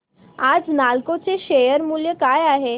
आज नालको चे शेअर मूल्य काय आहे